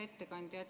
Hea ettekandja!